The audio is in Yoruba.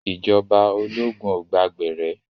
Ìjọba ológun ò gba gbẹ̀rẹ́.